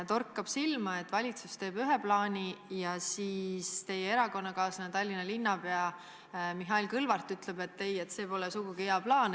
Torkab silma, et valitsus teeb ühe plaani, aga teie erakonnakaaslane Tallinna linnapea Mihhail Kõlvart ütleb, et see pole sugugi hea plaan.